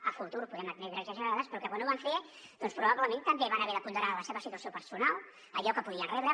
a futur podem entendre exagerades però que quan ho van fer doncs probablement també van haver de ponderar la seva situació personal allò que podien rebre